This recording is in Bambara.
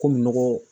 Komi nɔgɔ